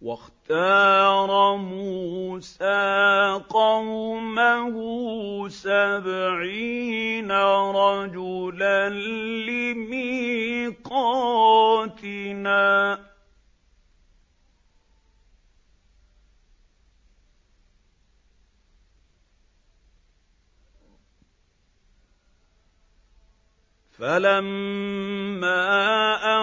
وَاخْتَارَ مُوسَىٰ قَوْمَهُ سَبْعِينَ رَجُلًا لِّمِيقَاتِنَا ۖ فَلَمَّا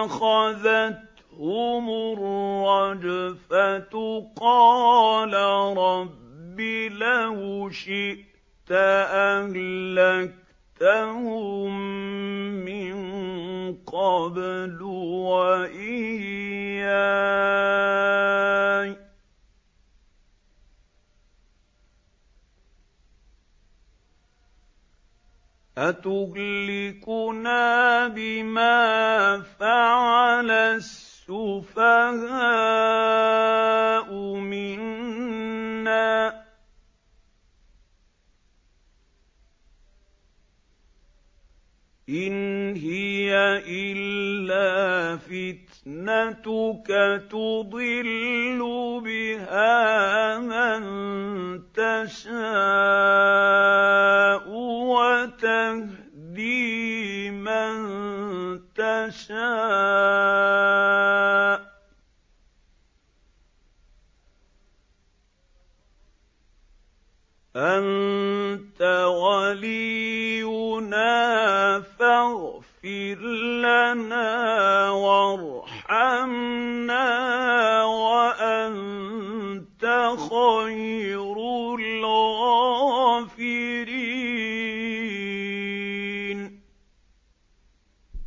أَخَذَتْهُمُ الرَّجْفَةُ قَالَ رَبِّ لَوْ شِئْتَ أَهْلَكْتَهُم مِّن قَبْلُ وَإِيَّايَ ۖ أَتُهْلِكُنَا بِمَا فَعَلَ السُّفَهَاءُ مِنَّا ۖ إِنْ هِيَ إِلَّا فِتْنَتُكَ تُضِلُّ بِهَا مَن تَشَاءُ وَتَهْدِي مَن تَشَاءُ ۖ أَنتَ وَلِيُّنَا فَاغْفِرْ لَنَا وَارْحَمْنَا ۖ وَأَنتَ خَيْرُ الْغَافِرِينَ